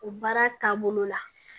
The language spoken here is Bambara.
O baara taabolo la